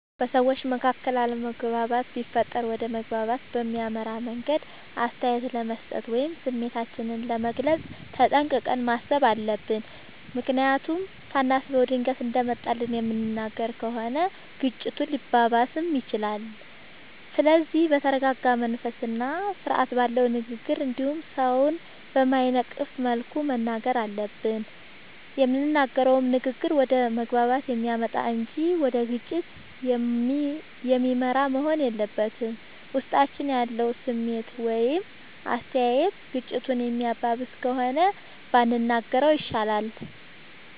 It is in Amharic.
በሠዎች መካከል አለመግባባት ቢፈጠር ወደ መግባባት በሚያመራ መንገድ አስተያየት ለመስጠት ወይም ስሜታችንን ለመግለፅ ተጠንቅቀን ማሠብ አለብ። ምክንያቱም ሳናስበው ድንገት እንደመጣልን የምንናገር ከሆነ ግጭቱ ሊባባስም ይችላል። ስለዚህ በተረረጋ መንፈስና ስርአት ባለው ንግግር እንዲሁም ሠውን በማይነቅፍ መልኩ መናገር አለብን። የምንናገረውም ንግግር ወደ መግባባት የሚያመጣ እንጂ ወደ ግጭት የሚመራ መሆን የለበትም። ውስጣችን ያለው ስሜት ወይም አስተያየት ግጭቱን የሚያባብስ ከሆነ ባንናገረው ይሻላል።